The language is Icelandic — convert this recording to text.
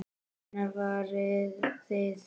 Hvenær farið þið?